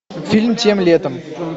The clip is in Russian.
фильм тем летом